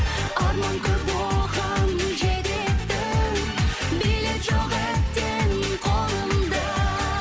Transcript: арман көп оған жететін билет жоқ әттең қолымда